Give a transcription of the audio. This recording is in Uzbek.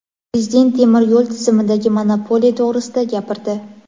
Prezident temir yo‘l tizimidagi monopoliya to‘grisida gapirdi.